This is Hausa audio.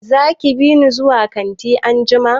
Zaki bini zuwa kanti anjima?